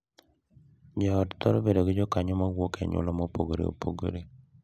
Jo ot thoro bedo gi jokanyo ma wuok e anyuola mopogore opogore,